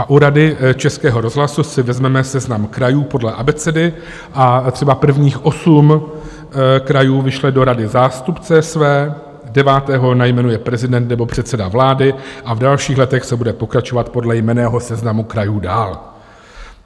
A u Rady Českého rozhlasu si vezmeme seznam krajů podle abecedy a třeba prvních osm krajů vyšle do rady zástupce své, devátého jmenuje prezident nebo předseda vlády a v dalších letech se bude pokračovat podle jmenného seznamu krajů dál.